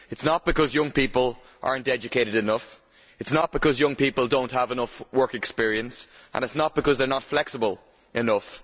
It is not because young people are not educated enough, it is not because young people do not have enough work experience and it is not because they are not flexible enough.